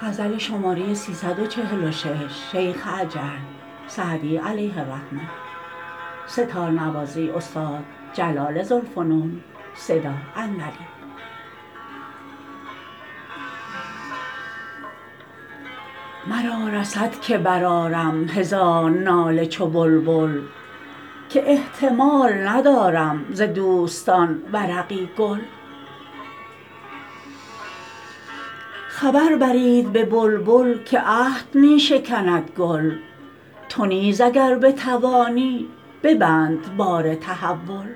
مرا رسد که برآرم هزار ناله چو بلبل که احتمال ندارم ز دوستان ورقی گل خبر برید به بلبل که عهد می شکند گل تو نیز اگر بتوانی ببند بار تحول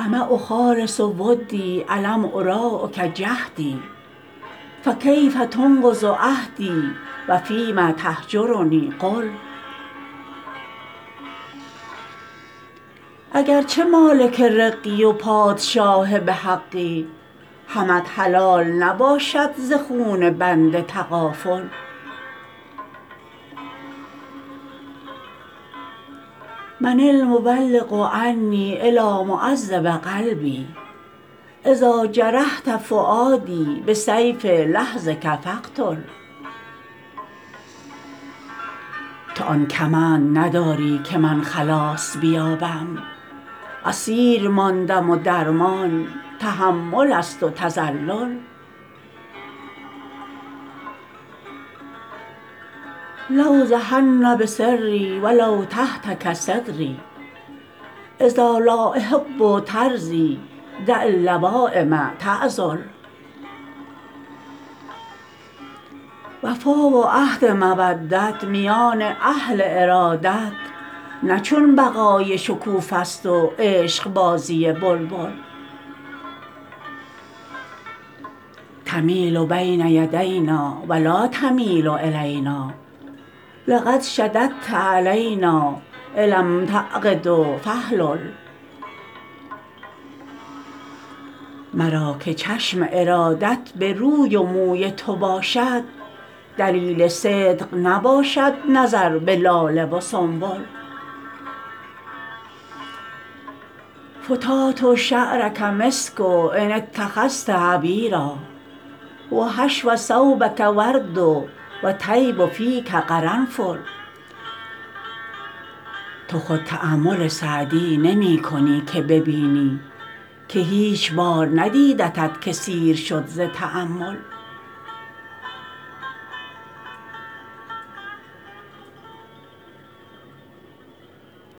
أما أخالص ودی ألم أراعک جهدی فکیف تنقض عهدی و فیم تهجرنی قل اگر چه مالک رقی و پادشاه به حقی همت حلال نباشد ز خون بنده تغافل من المبلغ عنی إلیٰ معذب قلبی إذا جرحت فؤادی بسیف لحظک فاقتل تو آن کمند نداری که من خلاص بیابم اسیر ماندم و درمان تحمل است و تذلل لأوضحن بسری و لو تهتک ستری إذا الأحبة ترضیٰ دع اللوایم تعذل وفا و عهد مودت میان اهل ارادت نه چون بقای شکوفه ست و عشقبازی بلبل تمیل بین یدینا و لا تمیل إلینا لقد شددت علینا إلام تعقد فاحلل مرا که چشم ارادت به روی و موی تو باشد دلیل صدق نباشد نظر به لاله و سنبل فتات شعرک مسک إن اتخذت عبیرا و حشو ثوبک ورد و طیب فیک قرنفل تو خود تأمل سعدی نمی کنی که ببینی که هیچ بار ندیدت که سیر شد ز تأمل